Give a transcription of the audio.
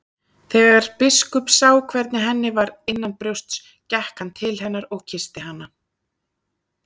Þegar biskup sá hvernig henni var innanbrjósts gekk hann til hennar og kyssti hana.